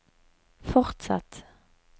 fortsatt